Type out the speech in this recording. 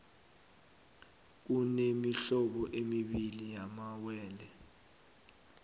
kunemihlobo emibii yamawele